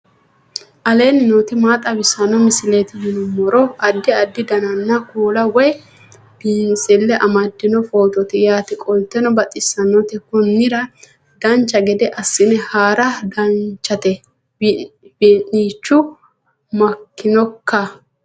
aleenni nooti maa xawisanno misileeti yinummoro addi addi dananna kuula woy biinsille amaddino footooti yaate qoltenno baxissannote konnira dancha gede assine haara danchate wee'nichu maaikkinoikka